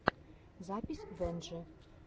запись венджи